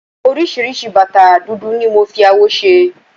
oríṣiríṣi bàtà dúdú ni mo fi awọ ṣe